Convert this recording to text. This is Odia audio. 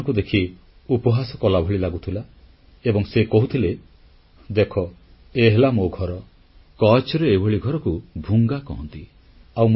ସେ ଆମମାନଙ୍କୁ ଦେଖି ଉପହାସ କଲାଭଳି ଲାଗୁଥିଲା ଏବଂ ସେ କହୁଥିଲେ ଦେଖ ଏ ହେଲା ମୋ ଘର କଚ୍ଛରେ ଏଭଳି ଘରକୁ ଭୂଙ୍ଗା କହନ୍ତି